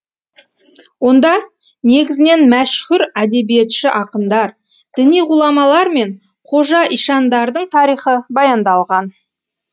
онда негізінен мәшһүр әдебиетші ақындар діни ғұламалар мен қожа ишандардың тарихы баяндалған